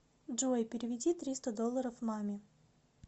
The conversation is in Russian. джой переведи триста долларов маме